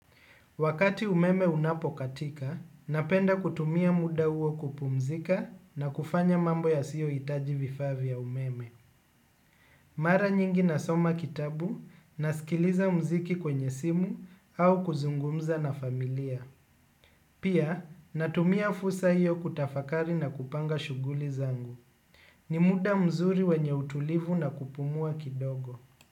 Wakati umeme unapokatika, napenda kutumia muda huo kupumzika na kufanya mambo ya siyo hitaji vifaa vya umeme. Mara nyingi nasoma kitabu, nasikiliza mziki kwenye simu au kuzungumza na familia. Pia, natumia fursa hiyo kutafakari na kupanga shuguli zangu. Ni muda mzuri wenye utulivu na kupumua kidogo.